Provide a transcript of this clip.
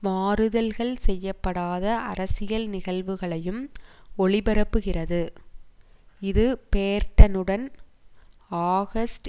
மாறுதல்கள் செய்ய படாத அரசியல் நிகழ்வுகளையும் ஒளிபரப்புகிறது இது பேர்ட்டனுடன் ஆகஸ்ட்